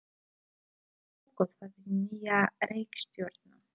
Hann uppgötvaði nýja reikistjörnu!